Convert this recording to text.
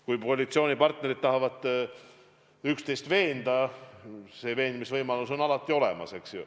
Kui koalitsioonipartnerid tahavad üksteist veenda, siis veenmisvõimalus on alati olemas.